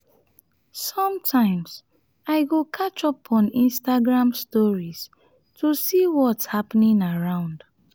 sometimes i go catch up on instagram stories to see what’s happening around.